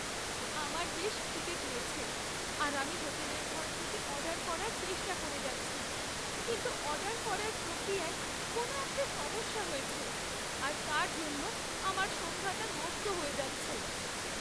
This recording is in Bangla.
আমার বেশ খিদে পেয়েছে আর আমি হোটেলের ঘর থেকে অর্ডার করার চেষ্টা করে যাচ্ছি কিন্তু অর্ডার করার প্রক্রিয়ায় কোনো একটা সমস্যা হয়েছে আর তার জন্য আমার সন্ধ্যাটা নষ্ট হয়ে যাচ্ছে!